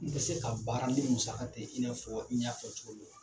Ni bɛ se ka baara ni musaka tɛ, i n'a fɔ i y'a fɔ cogo min wa?